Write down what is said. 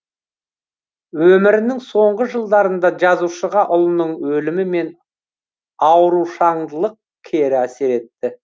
өмірінің соңғы жылдарында жазушыға ұлының өлімі мен аурушаңдылылық кері әсер етті